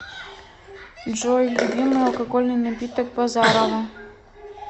джой любимый алкогольный напиток базарова